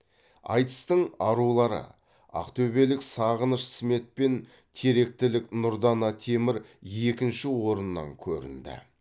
айтыстың арулары ақтөбелік сағыныш смет пен теректілік нұрдана темір екінші орыннан көрінді